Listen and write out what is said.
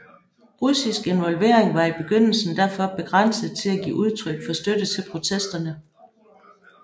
Russisk involvering var i begyndelsen derfor begrænset til at give udtryk for støtte til protesterne